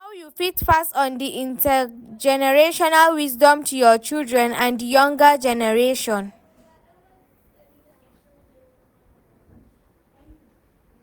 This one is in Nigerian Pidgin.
How you fit pass on di intergenerational wisdom to your children and di younger generation?